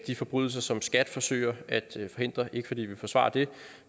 de forbrydelser som skat forsøger at forhindre ikke fordi vi vil forsvare dem